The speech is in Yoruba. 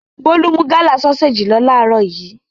Bólú mú Gala sọ́séjì lọ láàárọ̀ yìí.